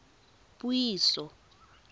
puiso